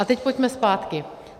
A teď pojďme zpátky.